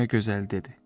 Dünya gözəli dedi: